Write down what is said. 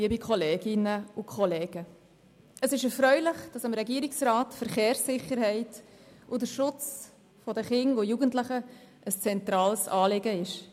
Es ist erfreulich, dass dem Regierungsrat die Verkehrssicherheit und der Schutz der Kinder und Jugendlichen ein zentrales Anliegen ist.